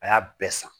A y'a bɛɛ san